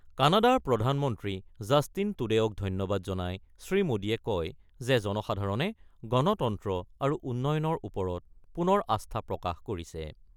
কানাডাৰ প্ৰধানমন্ত্ৰী জাষ্টিন টুডেঅ'ক ধন্যবাদ জনাই শ্ৰীমোদীয়ে কয় যে, জনসাধাৰণে গণতন্ত্ৰ আৰু উন্নয়নৰ ওপৰত পুনৰ আস্থা প্ৰকাশ কৰিছে।